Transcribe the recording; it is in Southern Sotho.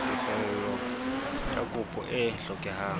tefello ya kopo e hlokehang